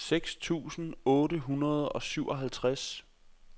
seks tusind otte hundrede og syvoghalvtreds